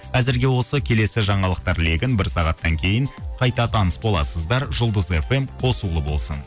әзірге осы келесі жаңалықтар легін бір сағаттан кейін қайта таныс боласыздар жұлдыз фм қосулы болсын